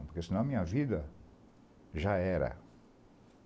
Porque senão a minha vida já era.